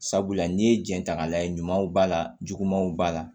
Sabula n'i ye jɛn ta k'a lajɛ ɲumanw b'a la jugumanw b'a la